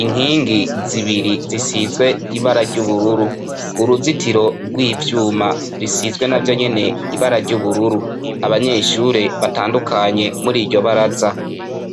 inkingi zibiri zisizwe ibara ry'ubururu uruzitiro rw'ivyuma risizwe na vya nyene ibara ry'ubururu abanyeshure baae ndukanye muri iryo baraza.